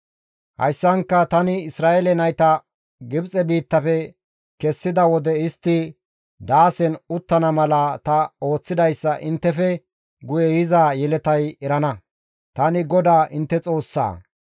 Hayssanka tani Isra7eele nayta Gibxe biittafe kessida wode istti daasen uttana mala ta ooththidayssa inttefe guye yiza yeletay erana. Tani GODAA intte Xoossaa.»